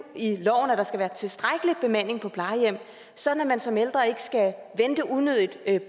i loven at der skal være tilstrækkelig bemanding på plejehjemmene sådan at man som ældre ikke skal vente unødigt